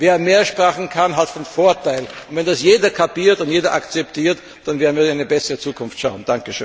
Wer mehr Sprachen kann, hat einen Vorteil, und wenn das jeder kapiert und akzeptiert, dann werden wir in eine bessere Zukunft schauen.